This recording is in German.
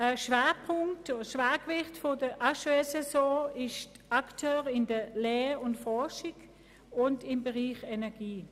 Einen wichtigen Schwerpunkt bildet für die HES-SO ihr Wirken als Akteur in Lehre und Forschung und im Bereich Energie.